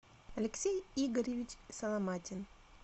алексей игоревич соломатин